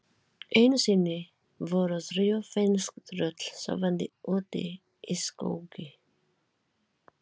Einu sinni voru þrjú finnsk tröll sofandi úti í skógi.